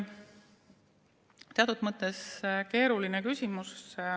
See on teatud mõttes keeruline küsimus.